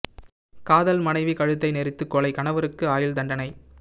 காதல் மனைவி கழுத்தை நெறித்து கொலை கணவருக்கு ஆயுள் தண்டனை